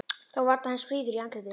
Þó varla eins fríður í andliti.